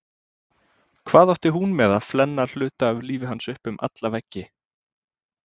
Hvað átti hún með að flenna hluta af lífi hans upp um alla veggi?